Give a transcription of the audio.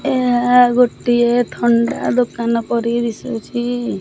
ଏହା ଗୋଟିଏ ଥଣ୍ଡା ଦୋକାନ ପରି ଦିଶୁଅଛି ।